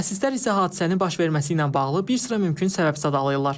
Mütəxəssislər isə hadisənin baş verməsi ilə bağlı bir sıra mümkün səbəb sadalayırlar.